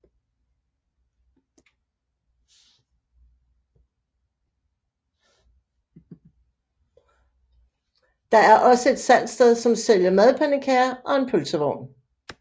Der er også et salgsted som sælger madpandekager og en pølsevogn